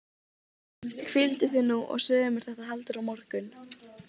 Voru nú skáladyr opnar og forðaði hann sér úr bænum.